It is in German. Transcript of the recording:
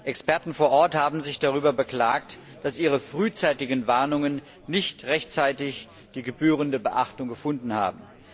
Experten vor Ort haben sich darüber beklagt, dass ihre frühzeitigen Warnungen nicht rechtzeitig die gebührende Beachtung gefunden haben.